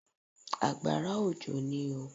Àgbàrá òjò ní oo.